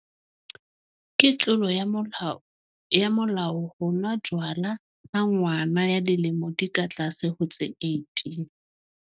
Ke tlolo ya molao ho nwa jwala ha ngwana ya dilemo di ka tlase ho tse 18.